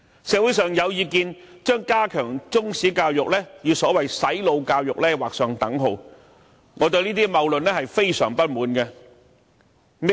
社會上有意見將加強中史教育與所謂"洗腦"教育劃上等號，我對這些謬論非常不滿。